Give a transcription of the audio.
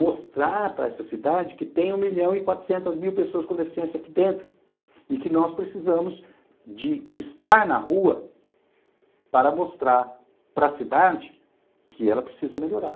Mostrar para essa cidade que tem um milhão e quatrocentas mil pessoas com deficiência aqui dentro e que nós precisamos de estar na rua para mostrar para cidade que ela precisa melhorar.